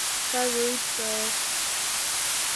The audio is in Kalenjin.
kakoit toek